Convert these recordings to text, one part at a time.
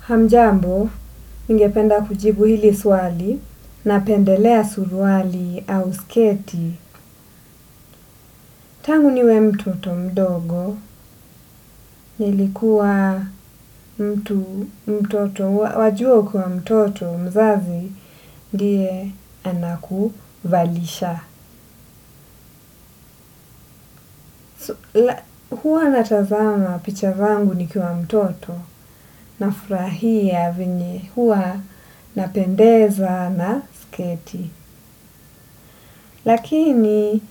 Hamjambo ningependa kujibu hili swali napendelea suruali au sketi. Tangu niwe mtoto mdogo, nilikuwa mtu mtoto, wajua ukiwa mtoto mzazi ndiye anakuvalisha. Huwa natazama picha zangu nikuwa mtoto, nafurahia vyenye huwa napendeza na sketi. Lakini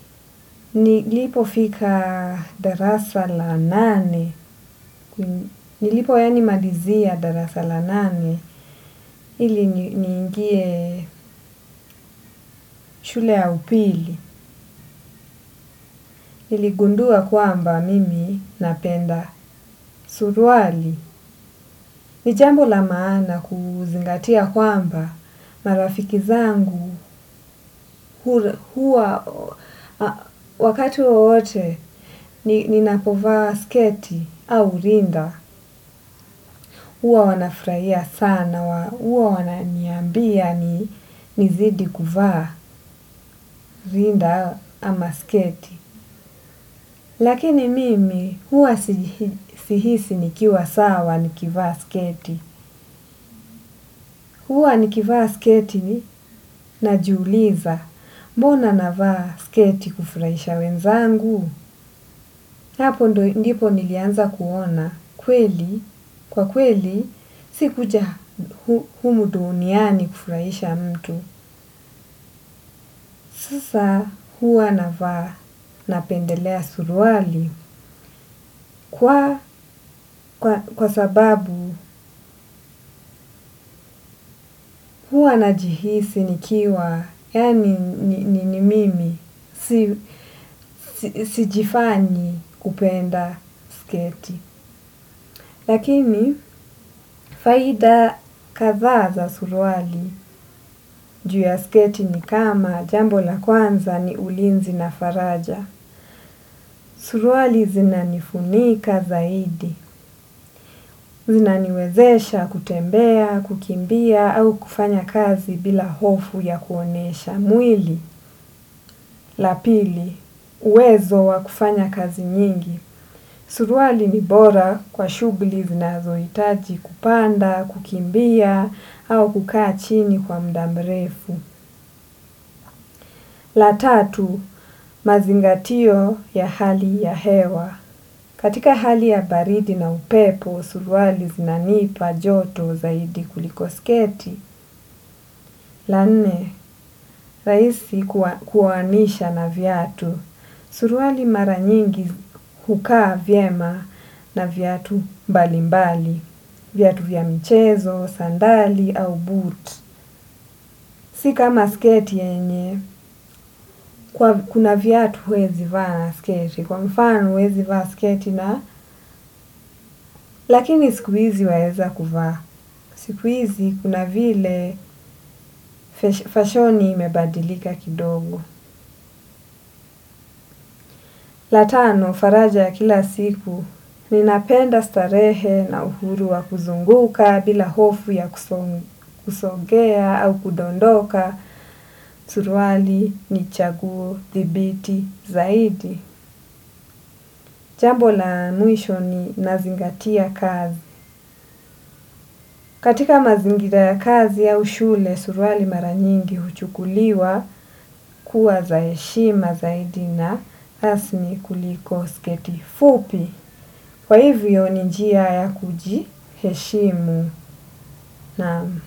nilipofika darasa la nane. Nilipo yaani malizia darasa la nane ili niingie shule ya upili. Niligundua kwamba mimi napenda suruali. Ni jambo la maana kuzingatia kwamba marafiki zangu huwa wakati wowote ninapovaa sketi au rinda. Huwa wanafurahia sana huwa wananiambia nizidi kuvaa rinda ama sketi. Lakini mimi huwa sihisi nikiwa sawa nikivaa sketi. Huwa nikivaa sketi najiuliza. Mbona navaa sketi kufurahisha wenzangu? Hapo ndipo nilianza kuona kweli. Kwa kweli, sikuja humu duniani kufurahisha mtu. Sasa, huwa navaa napendelea suruali. Kwa sababu huwa najihisi nikiwa yaani ni mimi, sijifanyi kupenda sketi. Lakini, faida kadhaa za suruali juu ya sketi ni kama jambo la kwanza ni ulinzi na faraja. Suruali zinanifunika zaidi, zinaniwezesha kutembea, kukimbia au kufanya kazi bila hofu ya kuonesha. Mwili. La pili. Uwezo wa kufanya kazi nyingi. Suruali ni bora kwa shughuli zinazohitaji kupanda, kukimbia, au kukaa chini kwa muda mrefu. La tatu. Mazingatio ya hali ya hewa. Katika hali ya baridi na upepo, suruali zinanipa joto zaidi kuliko sketi. La nne rahisi kuanisha na viatu. Suruali mara nyingi hukaa vyema na viatu mbalimbali, viatu vya michezo, sandali au boot. Si kama sketi yenye kuna viatu huwezi vaa na sketi, kwa mfano huwezi vaa sketi na, lakini siku hizi waweza kuvaa. Siku hizi kuna vile fashoni imebadilika kidogo. La tano faraja ya kila siku, ninapenda starehe na uhuru wa kuzunguka bila hofu ya kusongea au kudondoka suruali ni chaguo thibiti zaidi. Jambo la mwisho ni nazingatia kazi. Katika mazingira ya kazi au shule suruali mara nyingi huchukuliwa kuwa za heshima zaidi na hasni kuliko sketi fupi. Kwa hivyo ni njia ya kujiheshimu, naam.